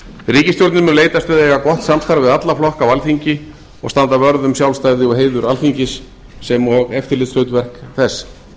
ríkisstjórnin mun leitast við að eiga gott samstarf við alla flokka á alþingi og standa vörð um sjálfstæði og heiður alþingis sem og eftirlitshlutverk þess